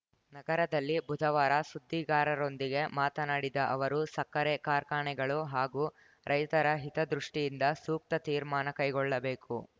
ನಗರದಲ್ಲಿ ಬುಧವಾರ ಸುದ್ದಿಗಾರರೊಂದಿಗೆ ಮಾತನಾಡಿದ ಅವರು ಸಕ್ಕರೆ ಕಾರ್ಖಾನೆಗಳು ಹಾಗೂ ರೈತರ ಹಿತದೃಷ್ಟಿಯಿಂದ ಸೂಕ್ತ ತೀರ್ಮಾನ ಕೈಗೊಳ್ಳಬೇಕು